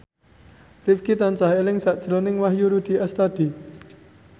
Rifqi tansah eling sakjroning Wahyu Rudi Astadi